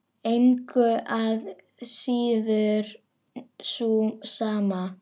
Engu að síður sú sama.